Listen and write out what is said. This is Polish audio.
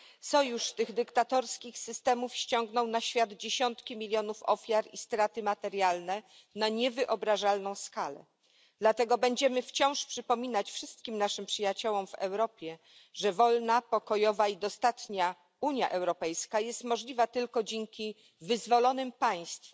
Sojusz tych dyktatorskich systemów spowodował dziesiątki milionów ofiar i straty materialne na niewyobrażalną skalę, dlatego będziemy wciąż przypominać wszystkim naszym przyjaciołom w Europie, że wolna, pokojowa i dostatnia Unia Europejska jest możliwa tylko dzięki wyzwolonym państwom,